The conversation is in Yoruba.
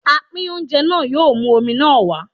Apín oúnjẹ náà yóò mú omi náà wá.